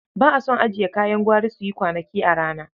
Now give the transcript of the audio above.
Ba a son ajiye kayan gwari su yi kwanaki a rana.